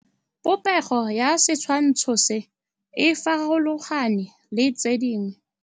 Popêgo ya setshwantshô se, e farologane le tse dingwe.